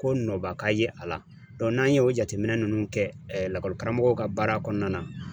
Ko nɔba ka ye a la n'an ye o jateminɛ ninnu kɛ lakɔlikaramɔgɔw ka baara kɔnɔna na